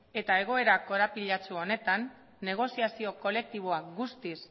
eta egoera korapilatsu honetan negoziazio kolektiboa guztiz